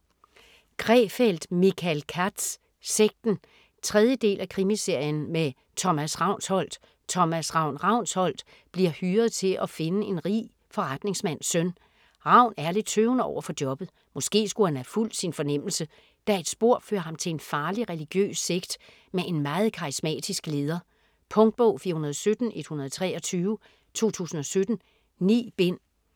Krefeld, Michael Katz: Sekten 3. del af Krimiserien med Thomas Ravnsholdt. Thomas "Ravn" Ravnsholdt bliver hyret til at finde en rig forretningsmands søn. Ravn er lidt tøvende overfor jobbet. Måske skulle han have fulgt sin fornemmelse, da et spor fører ham til en farlig religiøs sekt med en meget karismatisk leder. Punktbog 417123 2017. 9 bind.